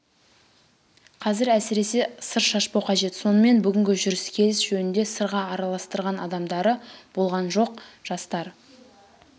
қазір әсіресе сыр шашпау қажет сонымен бүгінгі жүріс келіс жөнінде сырға араластырған адамдары болған жоқ жастар